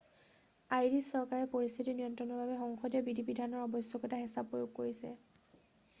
Irish চৰকাৰে পৰিস্থিতি নিয়ন্ত্ৰণৰ বাবে সংসদীয় বিধি-বিধানৰ আৱশ্যকতাত হেঁচা প্ৰয়োগ কৰিছে